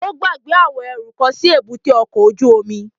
Ó gbàgbé àwọn ẹrú kan sí èbúté ọkọ̀ ojú omi